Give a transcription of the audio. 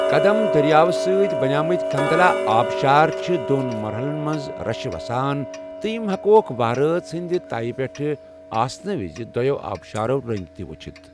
كدم درِیاو سۭتۍ بنیمٕتۍ كُنتلا آبشار چھِ دون مرحلن منز رشہٕ وسان تہٕ یم ہیكوكھ، وہرۭٲژ ہندِ تیہ پیٹھ آسنہٕ وِزِ، دویو آبشارو رنگہِ تہِ وٗچھِتھ ۔